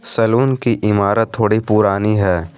Salon की इमारत थोड़ी पुरानी है।